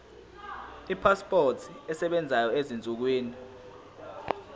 ipasipoti esebenzayo ezinsukwini